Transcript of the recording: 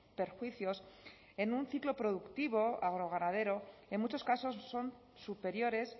perjuicios en un ciclo productivo agroganadero en muchos casos son superiores